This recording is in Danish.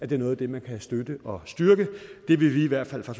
det er noget af det man kan støtte og styrke det vil vi i hvert fald fra